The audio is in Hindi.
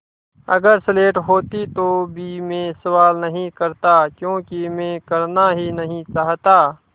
अगर स्लेट होती तो भी मैं सवाल नहीं करता क्योंकि मैं करना नहीं चाहता